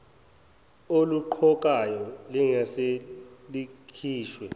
oluqokayo lingase likhishwe